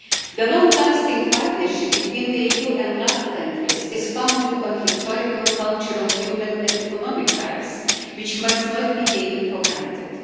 The long-lasting partnership between the EU and LAC countries is founded on historical, cultural, human and economic ties, which must not be taken for granted.